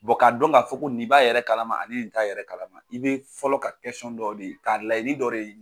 k'a dɔn k'a fɔ ni b'a yɛrɛ kalama ani nin t'a yɛrɛ kalama i bɛ fɔlɔ ka dɔ de ka layini dɔ de